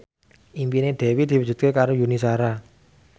impine Dewi diwujudke karo Yuni Shara